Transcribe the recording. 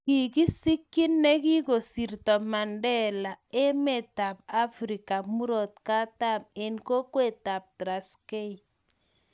kikisikyi nekikosirto Mandela emetab Afrika murot katam eng kokwetab Traskei